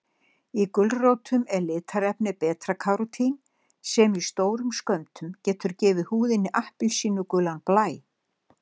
Í gulrótum er litarefnið beta-karótín sem í stórum skömmtum getur gefið húðinni appelsínugulan blæ.